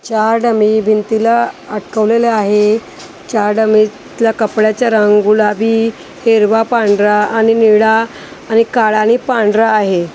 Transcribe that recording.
चार डमी भिंतीला अटकवलेले आहे चार डमीतला कपड्याचा रंग गुलाबी हिरवा पांढरा आणि निळा आणि काळा आणि पांढरा आहे.